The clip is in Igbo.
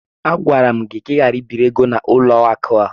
Agwara m gị ka ị ghara ibiri ego n'ụlọ akụ ahụ!